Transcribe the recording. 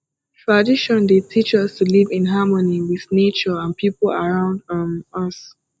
tradition dey teach us to live in harmony with nature and people around um us